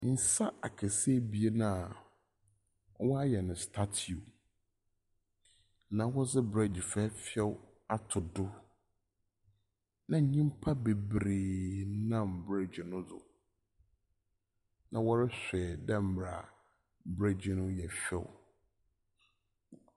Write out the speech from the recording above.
Nsa akɛse ebien a wɔayɛ no statue na wɔdze bridge fɛɛfɛw ato do, na nyimpa beberee nam bridge no do na wɔrohwɛ dɛ mbrɛ bridge no yɛ fɛw.